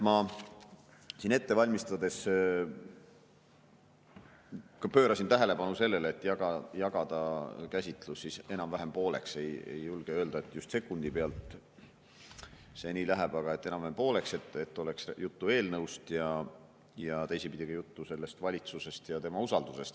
Ma siin ette valmistades pöörasin tähelepanu sellele, et jagada käsitlus enam-vähem pooleks, ei julge öelda, et just sekundi pealt see nii läheb, aga enam-vähem pooleks, et oleks juttu eelnõust ja teisipidi ka sellest valitsusest ja tema usaldusest.